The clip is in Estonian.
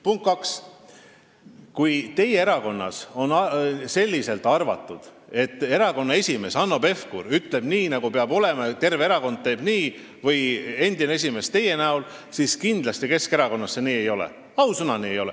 Punkt kaks: kui teie erakonnas arvatakse, et erakonna esimees Hanno Pevkur või endine esimees teie näol ütleb nii, nagu peab olema, ja terve erakond teebki nii, siis Keskerakonnas see kindlasti nii ei ole – ausõna, ei ole.